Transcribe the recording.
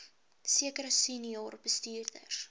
sekere senior bestuurders